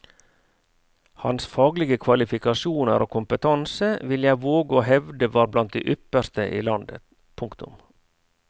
Hans faglige kvalifikasjoner og kompetanse vil jeg våge å hevde var blant de ypperste i landet. punktum